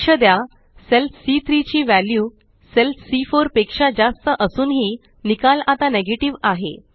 लक्ष द्या सेल सी3 ची वॅल्यू सेल सी4 पेक्षा जास्त असूनही निकाल आता नेगेटिव्ह आहे